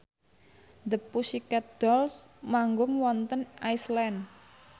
The Pussycat Dolls manggung wonten Iceland